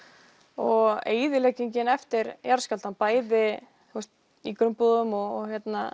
og eyðileggingin eftir jarðskjálftann bæði í grunnbúðum og